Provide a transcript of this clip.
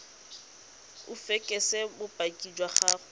o fekese bopaki jwa gore